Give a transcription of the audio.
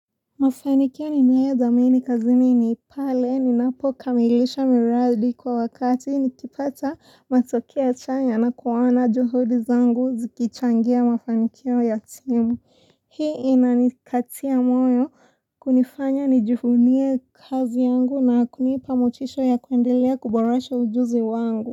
Mafanikia ninaia zamini kazi niniipale ninapo kamilisha miradi kwa wakati nikipata matoki ya chanya na kuwana juhudi zangu zikichangia mafanikia ya timu Hii inanikatia moyo kunifanya nijivunie kazi yangu na kunipa motisho ya kuendelea kuborasha ujuzi wangu.